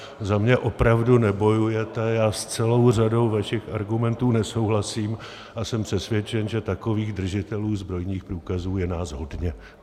Za mě opravdu nebojujete, já s celou řadou vašich argumentů nesouhlasím a jsem přesvědčen, že takových držitelů zbrojních průkazů je nás hodně.